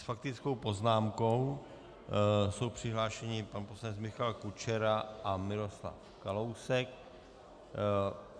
S faktickou poznámkou jsou přihlášeni pan poslanec Michal Kučera a Miroslav Kalousek.